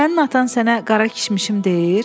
Sənin atan sənə qara kişmişim deyir?